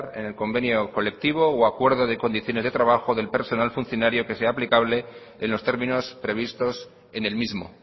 en el convenio colectivo u acuerdo de condiciones de trabajo del personal funcionario que sea aplicable en los términos previstos en el mismo